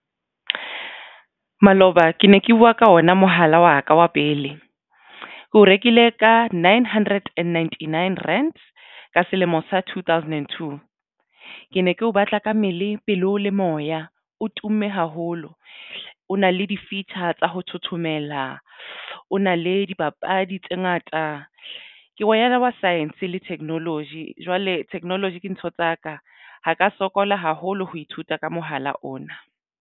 Maloba ke ne ke buwa ka ona mohala wa ka wa pele ke o rekile ka nine hundred and ninety nine rands ka selemo sa two thousand and two. Ke ne ke batla ka mmele pelo le moya o tumme haholo, o na le di-feature tsa ho thothomela o na le dipapadi tse ngata ke ngwanyana wa science le technology, jwale technology ke ntho tsaka ha ka sokola haholo ho ithuta ka mohala ona.